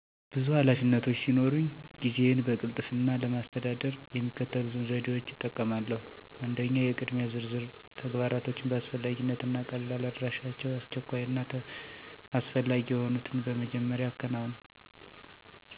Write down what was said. ብዙ ኃላፊነቶች ሲኖሩኝ ጊዜዬን በቅልጥፍና ለማስተዳደር የሚከተሉትን ዘዴዎች እጠቀማለሁ 1. **የቅድሚያ ዝርዝር** - ተግባራቶችን በአስፈላጊነት እና ቀልላ አደራደራቸው፣ አስቸኳይ እና አስፈላጊ የሆኑትን በመጀመሪያ አከናውን። 2. **ጊዜ ማገጃ** - ለእያንዳንዱ ተግባር የተወሰነ ጊዜ አውጥቼ በትኩረት እሰራለሁ። 3. **መተው ይቻላል!** - በጣም አስፈላጊ ያልሆኑ ነገሮችን ለቅጄ በጥሩ ሁኔታ የማልሰራቸውን እተዋለሁ። 4. **አጋር መሆን** - የሚቻልበትን ሁሉ ለሌሎች አካፍላለሁ፣ ይህም ጭንቀቴን ያሳነሳል። 5. **ጤናዊ እረፍት** - እንዳላቋርጥ አንድ አጭር እረፍት እወስዳለሁ፣ ይህም ትኩረቴን ያሻሽላል። በእነዚህ ዘዴዎች ሰአቴን በብቃት እያስተዳደርኩ ውጤታማ እየሆንኩ ነው።